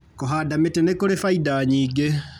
Kũhanda mĩtĩ nĩkũrĩ bainda nyingĩ.